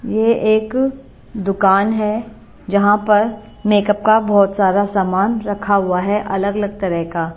ये एक दुकान है जहां पर मेकअप का बहोत सारा समान रखा हुआ है अलग अलग तरह का।